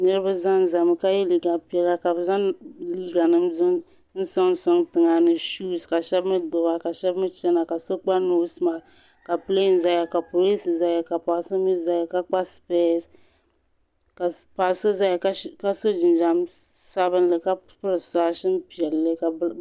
niriba Zan Zan mi ka yɛ liga piɛla ka be Zan liga nima suŋsuŋ tiŋa ka shɛba mi gbɛba China ka so gba pilin zaya ka paɣ' so mi kpa niŋkpara ka so zaya ka so jijam sabilin ka pɛri sushɛŋ piɛla